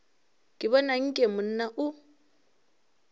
ke bona nke monna o